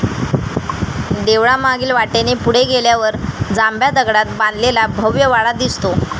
देवळामागील वाटेने पुढे गेल्यावर जांभ्या दगडात बांधलेला भव्य वाडा दिसतो.